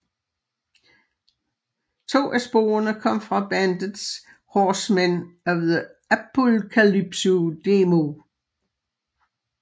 To af sporene kom fra bandets Horsemen of the Apocalypse demo